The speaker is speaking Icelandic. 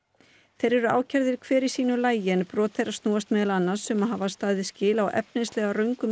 þeir eru ákærðir hver í sínu lagi en brot þeirra snúast meðal annars um að hafa staðið skil á efnislega röngum